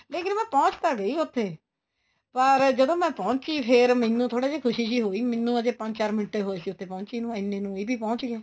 ਲੇਕਿਨ ਮੈਂ ਪਹੁੰਚ ਤਾਂ ਗਈ ਉੱਥੇ ਪਰ ਜਦੋਂ ਮੈਂ ਪਹੁੰਚੀ ਫੇਰ ਮੈਨੂੰ ਥੋੜਾ ਜਾ ਖੁਸ਼ੀ ਜੀ ਹੋਈ ਮੈਨੂੰ ਹਜੇ ਪੰਜ ਚਾਰ ਮਿੰਟ ਹੀ ਹੋਏ ਸੀ ਪਹੁੰਚੀ ਨੂੰ ਇੰਨੇ ਨੂੰ ਇਹ ਵੀ ਪਹੁੰਚ ਗਏ